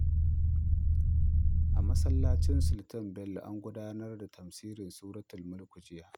A masallacin Sultan Bello, an gudanar da tafsirin suratul Mulk jiya.